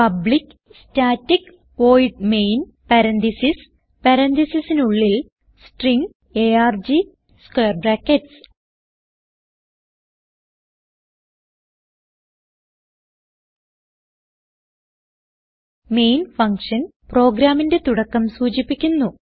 public static void main parentheses പരാൻതീസിസിനുള്ളിൽ string arg square brackets main function പ്രോഗ്രാമിന്റെ തുടക്കം സൂചിപ്പിക്കുന്നു